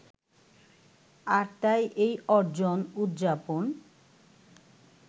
আর তাই এই অর্জন উদযাপন